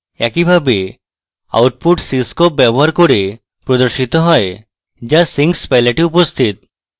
একইভাবে output cscope block ব্যবহার করে প্রদর্শিত হয় যা sinks palette এ উপস্থিত